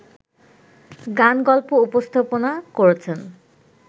গান-গল্প উপস্থাপনা করেছেন